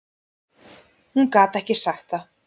Hún gat ekki sagt það.